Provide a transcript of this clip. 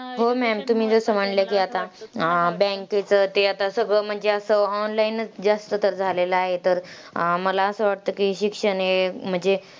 हो maam, तुम्ही जसं म्हणल्या की आता, अं bank चं ते आता सगळं म्हणजे असं online च जास्त तर झालेलं आहे तर, अं मला असं वाटतं की शिक्षण हे म्हणजे,